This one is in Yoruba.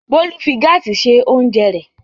Bólú fi gáásì se oúnjẹ rẹ̀.